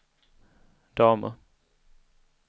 damer